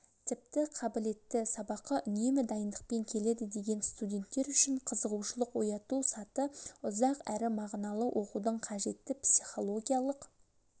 тіпті қабілетті сабаққа үнемі дайындықпен келеді деген студенттер үшін қызығушылық ояту саты ұзақ әрі мағыналы оқудың қажетті психологиялық